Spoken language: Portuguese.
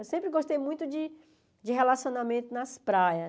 Eu sempre gostei muito de de relacionamento nas praias.